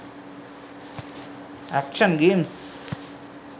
action games